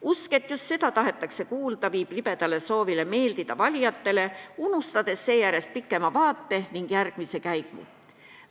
Usk, et just seda tahetakse kuulda, toob kaasa libeda soovi meeldida valijatele, unustades seetõttu pikema vaate ning järgmise käigu.